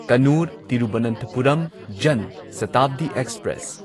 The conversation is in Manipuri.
ꯀꯟꯅꯨꯔ ꯇꯤꯔꯨꯚꯅꯟꯊꯄꯨꯔꯝ ꯖꯟ ꯁꯇꯥꯕꯗꯤ ꯑꯦꯛꯁꯄ꯭ꯔꯦꯁ